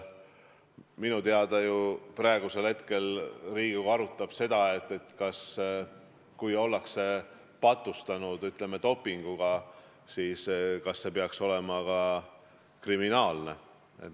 Minu teada praegu Riigikogu arutab seda, et kui ollakse dopinguga patustanud, siis kas see peaks olema kriminaalne tegu.